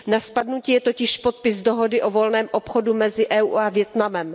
Na spadnutí je totiž podpis dohody o volném obchodu mezi Evropskou unií a Vietnamem.